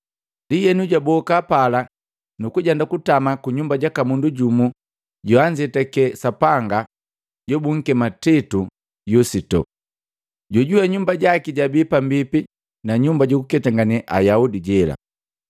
Ndienu, jwaboka pala nukujenda kutama ku nyumba jaka mundu jumu joanzetake Sapanga jobunkema Titu Yusito, jojuwe nyumba jaki jabii pambipi na nyumba jukuketangane Ayaudi jela.